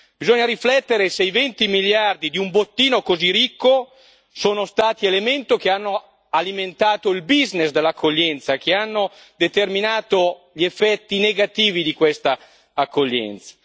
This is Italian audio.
Bisogna riflettere se i 20 miliardi di un bottino così ricco sono stati un elemento che ha alimentato il business dell'accoglienza, che ha determinato gli effetti negativi di questa accoglienza.